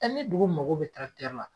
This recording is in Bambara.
ni dugu mago be la